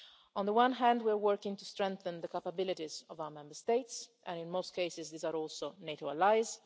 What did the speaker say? On the one hand, we are working to strengthen the capabilities of our Member States, and in most cases these are also NATO allies.